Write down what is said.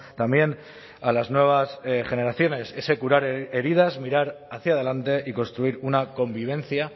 también a las nuevas generaciones ese curar heridas mirar hacia adelante y construir una convivencia